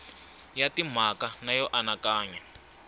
ya timhaka na yo anakanya